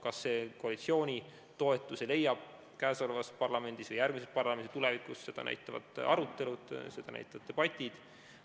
Kas see leiab koalitsiooni toetuse käesolevas parlamendis, järgmises parlamendis või tulevikus, seda näitavad arutelud, seda näitavad debatid.